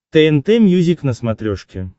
тнт мьюзик на смотрешке